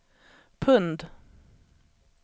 pund